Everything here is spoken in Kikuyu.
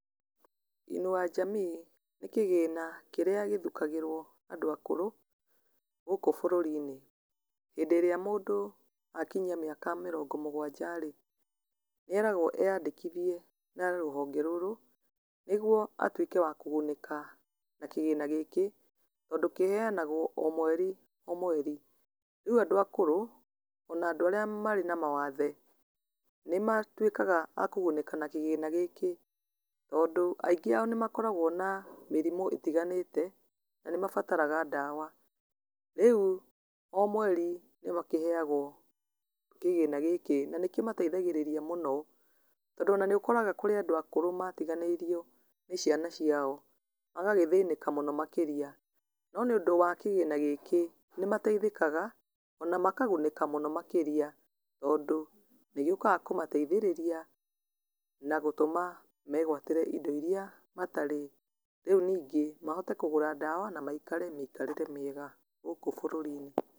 Inua Jamii nĩ kĩgĩna kĩrĩa gĩthukagĩrwo andũ akũrũ, gũkũ bũrũri-inĩ, hĩndĩ ĩrĩa mũndũ akinyia mĩaka mĩrongo mũgwanja rĩ, nĩeragwo eyandĩkithie na rũhonge rũrũ nĩguo atuĩke wa kũgunĩka na kĩgĩna gĩkĩ, tondũ kĩheanagwo o mweri o mweri, rĩu andũ akũrũ ona andũ arĩa marĩ na mawathe, nĩmatuĩkaga a kũgunĩka na kĩgĩna gĩkĩ, tondũ aingĩ ao nĩmakoragwo na mĩrimũ ĩtiganĩte na nĩmabataraga ndawa, rĩu o mweri nĩmakĩheagwo kĩgĩna gĩkĩ na nĩkĩmateithagĩrĩria mũno, tondũ ona nĩũkoraga kũrĩ andũ akũrũ matiganĩirio nĩciana ciao, magagĩthĩnĩka mũno makĩria, no nĩũndũ wa kĩgĩna gĩkĩ, nĩmateithĩkaga ona makagunĩka mũno makĩria tondũ nĩgĩũkaga kũmateithĩrĩrĩa na gũtũma megwatĩre indo iria matarĩ, rĩu ningĩ mahote kũgũra ndawa na maikare mĩikarĩre mĩega gũkũ bũrũri-inĩ.